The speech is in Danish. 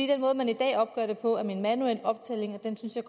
den måde man i dag opgør det på er ved en manuel optælling og den synes jeg